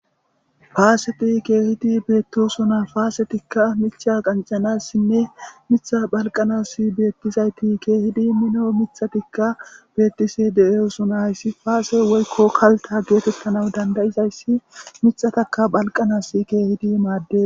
faaseti keehidi beettosona paasetikka micha qancanassinne mitha phalqanass beettizayti keehidi mino mithatikka bettisi de7e usuna hayssi faase woykko kalta geetettana dandayizayssi mixataka phalqanas keehidi maadde